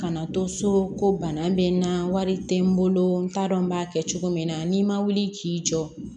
Kana to so ko bana bɛ n na wari tɛ n bolo n t'a dɔn n b'a kɛ cogo min na n'i ma wuli k'i jɔ